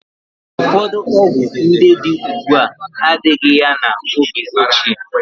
Ụfọdụ ọgwụ ndị dị ugbu a adịghị ya n'oge ochie.